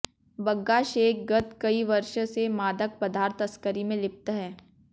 बग्गा शेख गत कई वर्ष से मादक पदार्थ तस्करी में लिप्त है